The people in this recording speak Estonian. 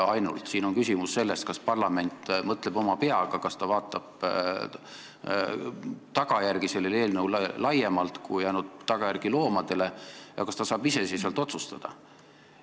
Küsimus on ka selles, kas parlament mõtleb oma peaga, kas ta vaatab selle eelnõu tagajärgi laiemalt kui ainult need tagajärjed, mis mõjuvad loomadele, ja kas ta saab iseseisvalt otsustada.